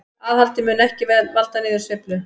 Aðhaldið mun ekki valda niðursveiflu